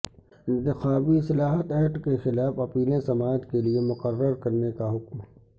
انتخابی اصلاحات ایکٹ کیخلاف اپیلیں سماعت کیلئے مقرر کرنے کا حکم